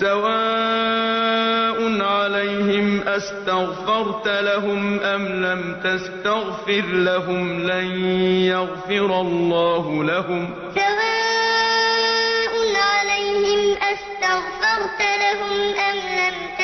سَوَاءٌ عَلَيْهِمْ أَسْتَغْفَرْتَ لَهُمْ أَمْ لَمْ تَسْتَغْفِرْ لَهُمْ لَن يَغْفِرَ اللَّهُ لَهُمْ ۚ إِنَّ اللَّهَ لَا يَهْدِي الْقَوْمَ الْفَاسِقِينَ سَوَاءٌ عَلَيْهِمْ أَسْتَغْفَرْتَ لَهُمْ أَمْ لَمْ